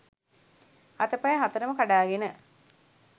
අතපය හතරම කඩාගෙන